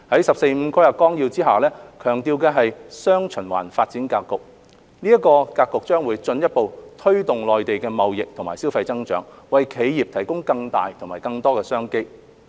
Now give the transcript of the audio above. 《十四五規劃綱要》下強調的"雙循環"發展格局將進一步推動內地的貿易及消費增長，為企業提供更大和更多的商機。